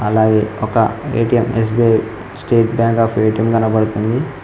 అలాగే ఒక ATM SBI State Bank of ATM కనబడుతుంది.